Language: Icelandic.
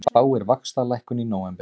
Spáir vaxtalækkun í nóvember